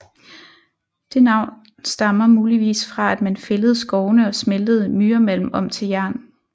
Det navn stammer muligvis fra at man fældede skovene og smeltede myremalm om til jern